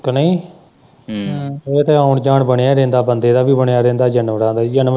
ਕਿ ਨਹੀਂ ਹਮ ਇਹ ਤੇ ਆਉਣ-ਜਾਉਣ ਬਣਿਆ ਰਹਿੰਦਾ ਬੰਦਾ ਦਾ ਵੀ ਬਣਿਆ ਰਹਿੰਦਾ ਜਾਨਵਰਾਂ ਦਾ ਵੀ।